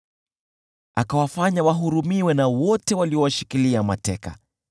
Akawafanya wahurumiwe na wote waliowashikilia mateka.